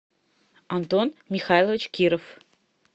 антон михайлович киров